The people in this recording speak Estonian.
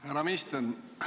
Härra minister!